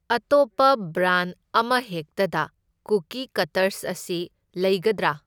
ꯑꯇꯣꯞꯄ ꯕ꯭ꯔꯥꯟ ꯑꯃꯍꯦꯛꯇꯗ cookie cutters ꯑꯁꯤ ꯂꯩꯒꯗ꯭ꯔꯥ?